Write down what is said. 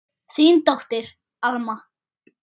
Þín dóttir, Alma.